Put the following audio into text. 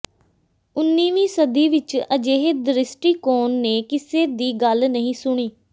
ਉਨ੍ਹੀਵੀਂ ਸਦੀ ਵਿਚ ਅਜਿਹੇ ਦ੍ਰਿਸ਼ਟੀਕੋਣ ਨੇ ਕਿਸੇ ਦੀ ਗੱਲ ਨਹੀਂ ਸੁਣੀ